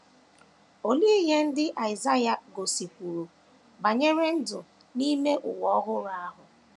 Olee ihe ndị Aịsaịa gosikwuru banyere ndụ n’ime ụwa ọhụrụ ahụ?